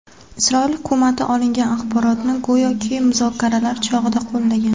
Isroil hukumati olingan axborotni go‘yoki, muzokaralar chog‘ida qo‘llagan.